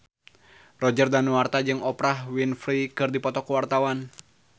Roger Danuarta jeung Oprah Winfrey keur dipoto ku wartawan